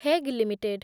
Hague limited